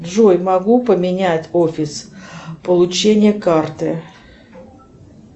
джой могу поменять офис получения карты